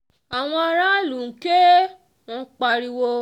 àwọn aráàlú ń ké wọn ń ń pariwo